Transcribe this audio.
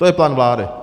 To je plán vlády.